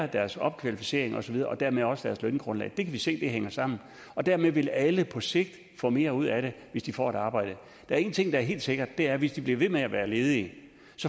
deres opkvalificering og så videre og dermed også deres løngrundlag det kan vi se hænger sammen og dermed vil alle på sigt få mere ud af det hvis de får et arbejde der er én ting der er helt sikker og det er at hvis de bliver ved med at være ledige